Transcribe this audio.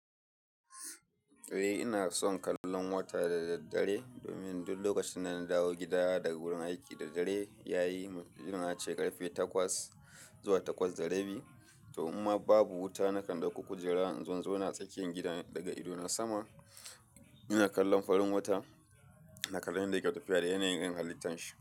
Eh ina son kallon wata da daddare domin duk lokacin da na dawo gida daga wurin aiki da dare ya yi, musamman ace karfe takwas zuwa takwas da rabi. To imma babu wuta nakan dauki kujera in zo ina tsakiyar gidan daga ido na sama ina kallon farin wata ina kallon yadda yake tafiya da yanayin halittar shi.